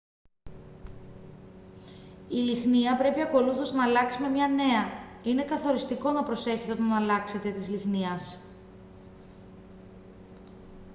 η λυχνία πρέπει ακολούθως να αλλάξει με μια νέα είναι καθοριστικό να προσέχετε όταν αλλάξετε της λυχνίας